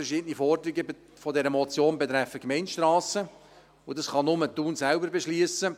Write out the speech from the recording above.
Verschiedene Forderungen dieser Motion betreffen Gemeindestrassen, und das kann nur Thun selber beschliessen.